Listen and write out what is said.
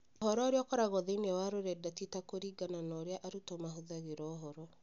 Ũhoro ũrĩa ũkoragwo thĩinĩ wa rũrenda ti ta kũringana na ũrĩa arutwo mahũthagĩra ũhoro